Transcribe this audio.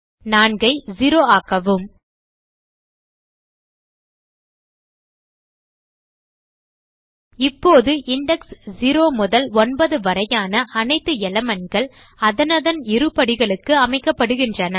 4 ஐ 0ஆக்கவும் இவ்வாறு இண்டெக்ஸ் 0 முதல் 9 வரையான அனைத்து elementகள் அதனதன் இருபடிகளுக்கு அமைக்கப்படுகிறது